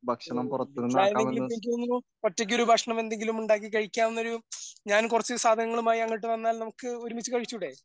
വീട്ടിലായിരുന്നെങ്കിൽ ഇപ്പോ എനിക്ക് തോന്നുന്നു ഒറ്റയ്ക്കൊരു ഭക്ഷണം എന്തെങ്കിലും ഉണ്ടാക്കി കഴിക്കാവുന്നൊരു ഞാൻ കുറച്ച് സാധനങ്ങളുമായി അങ്ങോട്ട് വന്നാൽ നമുക്ക് ഒരുമിച്ച് കഴിച്ചു കൂടെ?